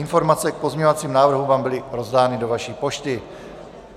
Informace k pozměňovacím návrhům vám byly rozdány do vaší pošty.